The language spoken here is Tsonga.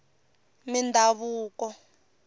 mindhavuko